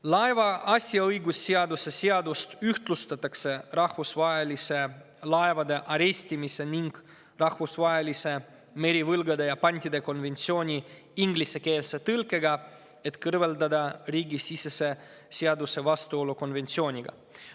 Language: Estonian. Laeva asjaõigusseadust ühtlustatakse rahvusvahelise laevade arestimise ning rahvusvahelise merivõlgade ja pantide konventsiooni ingliskeelse tõlkega, et kõrvaldada riigisisese seaduse vastuolu konventsiooniga.